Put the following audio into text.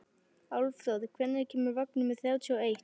Álfþór, hvenær kemur vagn númer þrjátíu og eitt?